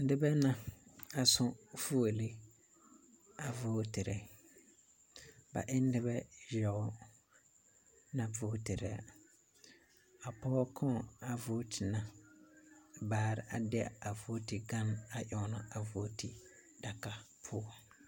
Noba la a su fuolii a vootiri ba e ne noba yaga naŋ vootiraa a pɔge kaŋ a vooti na bare a de a vooti gan ennɛ a vooti gan poɔ